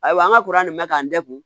Ayiwa an ka nin mɛ k'an da kun